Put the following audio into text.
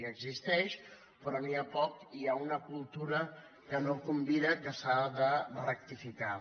existeix però n’hi ha poc i hi ha una cultura que no convida que s’ha de rectificar